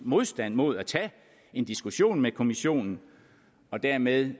modstand mod at tage en diskussion med kommissionen og dermed